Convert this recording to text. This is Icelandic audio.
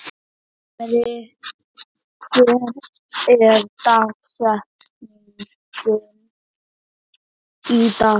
Himri, hver er dagsetningin í dag?